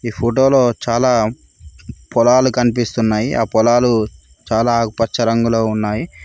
ఈ ఫోటోలో చాలా పొలాలు కనిపిస్తున్నాయి ఆ పొలాలు చాలా ఆకుపచ్చ రంగులో ఉన్నాయి.